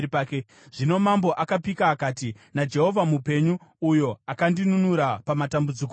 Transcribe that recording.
Zvino mambo akapika akati, “NaJehovha mupenyu, uyo akandinunura pamatambudziko ose,